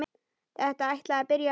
Þetta ætlaði að byrja vel!